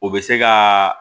O bɛ se ka